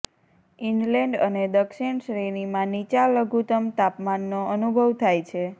inland અને દક્ષિણ શ્રેણીમાં નીચા લઘુત્તમ તાપમાનનો અનુભવ થાય છે